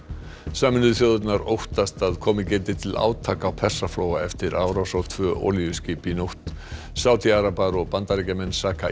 sameinuðu þjóðirnar óttast að komið geti til átaka á Persaflóa eftir árás á tvö olíuskip í nótt Sádi arabar og Bandaríkjamenn saka